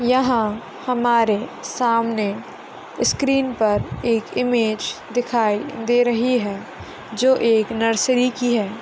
यहा हमारे सामने स्क्रीन पर एक इमेज दिखाई दे रही है जो एक नर्सरी की है।